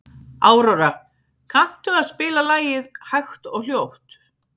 Aurora, kanntu að spila lagið „Hægt og hljótt“?